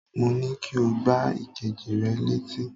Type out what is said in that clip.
Mo ní kí o gbá èkejì rẹ létí